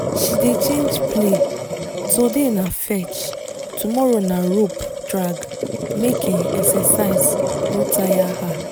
she dey change play today na fetch tomorrow na rope drag make um exercise no taya her